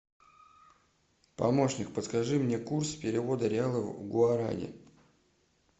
помощник подскажи мне курс перевода реалов в гуарани